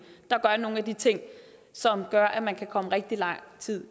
der gør nogle af de ting som gør at man kan komme rigtig lang tid